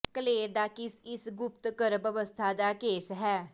ਕਲੇਰ ਦਾ ਕੇਸ ਇਸ ਗੁਪਤ ਗਰਭ ਅਵਸਥਾ ਦਾ ਕੇਸ ਹੈ